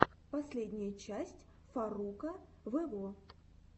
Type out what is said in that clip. последняя часть фарруко вево